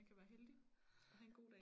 Man kan være heldig at have en god dag